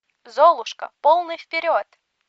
золушка полный вперед